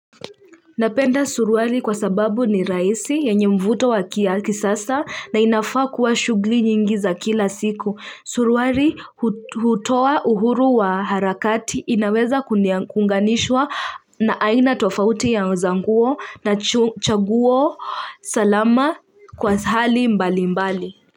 Napenda suruali kwa sababu ni raisi ya nye mvuto wakia kisasa na inafaa kuwa shugli nyingi za kila siku suruari hutowa uhuru wa harakati inaweza kunganishwa na aina tofauti ya uzanguo na chaguwo salama kwa hali mbali mbali.